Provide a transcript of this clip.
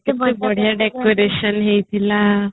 କେତେ ବଢିଆ decoration ହେଇଥିଲା